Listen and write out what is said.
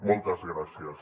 moltes gràcies